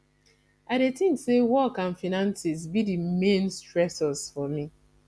i dey think say work and finances be di main stressors for me